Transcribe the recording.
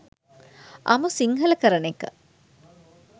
අමු සිංහල කරන එක